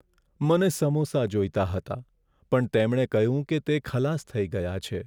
મને સમોસા જોઈતા હતા, પણ તેમણે કહ્યું કે તે ખલાસ થઇ ગયા છે.